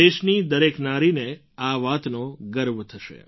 દેશની દરેક નારીને આ વાતનો ગર્વ થશે